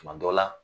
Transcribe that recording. Tuma dɔ la